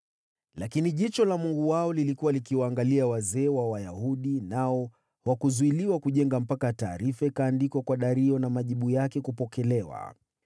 Lakini jicho la Mungu wao lilikuwa likiwaangalia wazee wa Wayahudi, nao hawakuzuiliwa kujenga mpaka taarifa ikaandikwa kwa Dario na majibu yake kupokelewa.